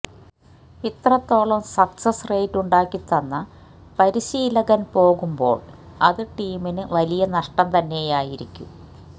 ഇത്രത്തോളം success rate ഉണ്ടാക്കിതന്ന പരിശീലകന് പോകുമ്പോള് അത് ടീമിന് വലിയ നഷ്ടം തന്നെയായിരിക്കും